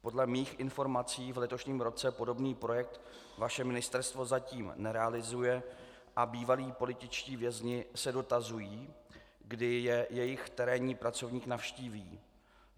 Podle mých informací v letošním roce podobný projekt vaše ministerstvo zatím nerealizuje a bývalí političtí vězni se dotazují, kdy je jejich terénní pracovník navštíví.